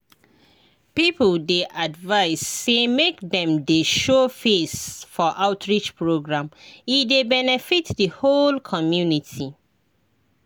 people dey advised say make dem dey show face for outreach program e dey benefit the whole community.